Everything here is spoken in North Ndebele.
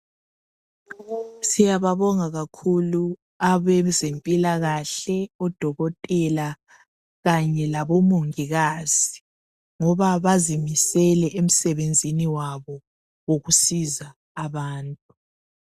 Siyababonga kakhulu abezempilakahle odokotela kanye labomongikazi ngoba bazimisele emsebenzini wabo wokusiza abantu.